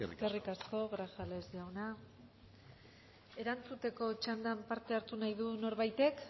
eskerrik asko eskerrik asko grajales jauna erantzuteko txanda parte hartu nahi du norbaitek